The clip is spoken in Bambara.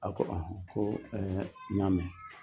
A ko ɔnhɔn ko ɛɛ n ya mɛn.